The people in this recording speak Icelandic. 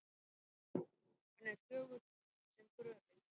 Hann er þögull sem gröfin.